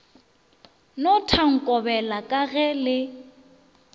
no thankobela ka ge le